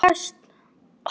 En tekst það?